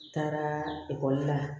N taara ekɔli la